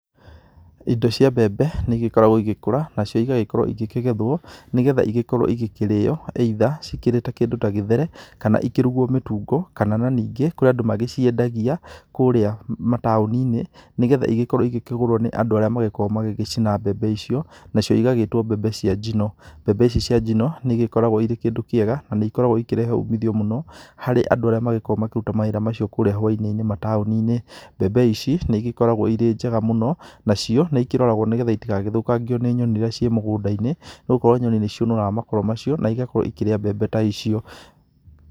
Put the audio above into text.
Indo cia mbembe nĩ igĩkoragwo igĩgĩkũra nacio ikagethwo nĩ getha igagĩkorwo igĩkĩrĩo, either cikĩrĩ ta kĩndũ ta gĩthere kana. Kana ikĩrugwo mĩtungo kana ningĩ kũrĩ andũ magĩciengagia kũrĩa mataũni-inĩ ni getha igĩkorwo igĩkĩgũrwo nĩ andũ arĩa agĩgĩkoragwo magĩcina mbembe icio. Nacio igagĩtwo mbembe cia njino. Mbembe ici cia njino nĩ igĩkoragwo irĩ kĩndũ kĩega na nĩ igĩkoragwo ikĩrehe umithio mũno harĩ andũ arĩa makoragwo makĩruta mawĩra macio kũrĩa hwai-inĩ inĩ kũria mataũni-inĩ. Mbembe ici nĩ igĩkoragwo irĩ njega mũno nacio nĩ ikĩroragwo nĩ getha itagagĩkorwo igĩthũkangio nĩ nyoni iria ciĩ mũgũnda-inĩ, nĩ gũkorwo nyoni nĩciũnũraga makoro macio na igakorwo ikĩrĩa mbembe ta icio.